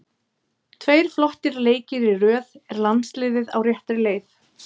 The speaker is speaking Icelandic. Tveir flottir leikir í röð, er landsliðið á réttri leið?